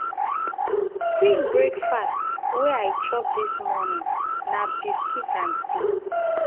quick um breakfast wey i chop dis morning na biscuit and tea.